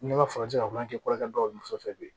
N'i ma farati ka kulibɛ kɛ kɔrɔkɛ dɔw fɛ bi